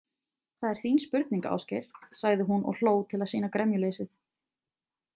Það er þín spurning, Ásgeir, sagði hún og hló til að sýna gremjuleysið.